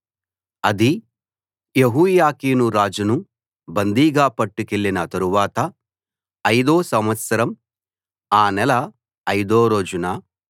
అది యెహోయాకీను రాజును బందీగా పట్టుకెళ్ళిన తరువాత ఐదో సంవత్సరం ఆ నెల ఐదో రోజున